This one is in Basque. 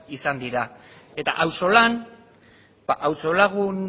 izan dira eta ausolan auzo lagun